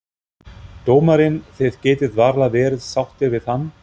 Dómarinn, þið getið varla verið sáttir við hann?